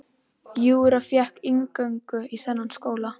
Júra fékk inngöngu í þennan skóla.